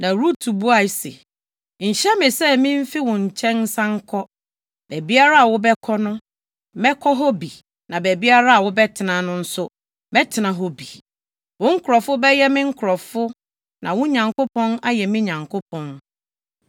Na Rut buae se, “Nhyɛ me sɛ mimfi wo nkyɛn nsan nkɔ. Baabiara a wobɛkɔ no, mɛkɔ hɔ bi na baabiara a wobɛtena no nso, mɛtena hɔ bi. Wo nkurɔfo bɛyɛ me nkurɔfo na wo Nyankopɔn ayɛ me Nyankopɔn.